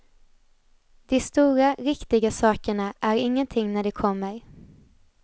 De stora, riktiga sakerna är ingenting när de kommer.